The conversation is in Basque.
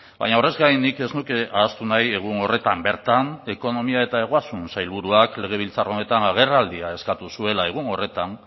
baina horrez gain nik ez nuke ahaztu nahi egun horretan bertan ekonomia eta ogasun sailburuak legebiltzar honetan agerraldia eskatu zuela egun horretan